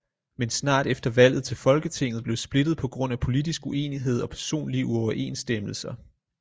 Men snart efter valget til folketinget blev splittet på grund af politisk uenighed og personlige uoverensstemmelser